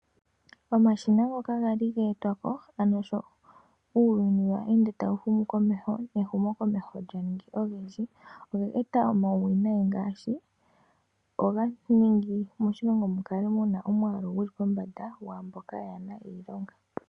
Omashina ngoka ga li ga etwa po ano sho uuyini we ende tawu humu komeho, nehumokomeho lya ningi olindji olya eta omauwinai ngaashi omwaalu guli pombanda nai moshilongo gwaamboka yaana iilonga.